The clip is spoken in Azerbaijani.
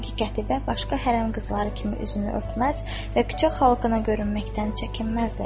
Çünki Qətibə başqa hərə qızları kimi üzünü örtməz və küçə xalqına görünməkdən çəkinməzdi.